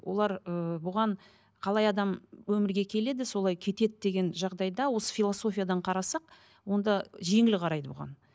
олар ыыы бұған қалай адам өмірге келеді солай кетеді деген жағдайда осы философиядан қарасақ онда жеңіл қарайды бұған